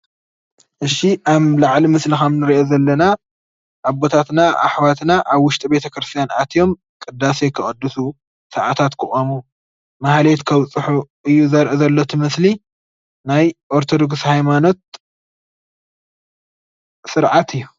እሺ ኣብ ላዕሊ ምስሊ ከም ንሪኦ ዘለና ኣቦታትና ኣሕዋትና ኣብ ዉሽጢ ቤት-ክርስትያን ኣትዮም ቅዳሴ ከቀድሱ ሰኣታት ክቆሙ ማህሌት ከብፅሑ እዩ ዘርኢ ዘሎ እቲ ምስሊ ናይ ኦርተዶክስ ሃይማኖት ሰርዓት እዩ።